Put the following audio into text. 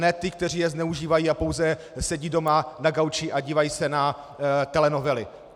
Ne těm, kteří je zneužívají a pouze sedí doma na gauči a dívají se na telenovely.